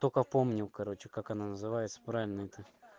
только помню короче как она называется правильно это